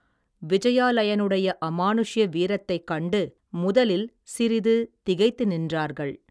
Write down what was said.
விஜயாலயனுடைய அமானுஷ்ய வீரத்தைக் கண்டு முதலில் சிறிது திகைத்து நின்றார்கள்.